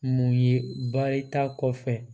Mun ye baarita kɔfɛ